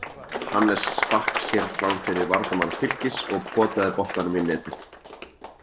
Hannes stakk sér framfyrir varnarmann Fylkis og potaði boltanum í netið.